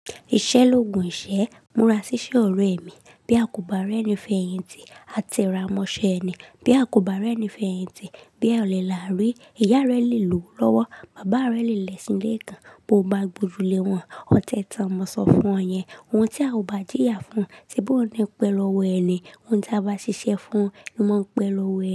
Ìṣẹ́ l'ógun ìṣẹ́. Múra ṣíṣe ọ̀rẹ́ mi. Bí a kò bá rẹ́ni fẹ̀yìntì, a te ra mọ ṣe eni. Bí a kò bá rẹ́ni fẹ̀yìntì, bí òle làrí, ìyá rẹ le lò ó lọ́wọ́, bàbá rẹ le lẹ̀ṣin l'ẹ́ kan. Bo bá gbojù le wọn, ọtẹ tan ni mo sọ fún ọ yẹn. Ohun tí a ò bá jìyà fún, se bi ouń ni n pẹ́ lọ́wọ́ ẹni. Ohun tí a bá ṣiṣẹ́ fún, ni mó ń pẹ́ lọ́wọ́ ẹ.